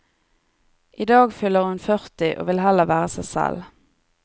I dag fyller hun førti, og vil heller være seg selv.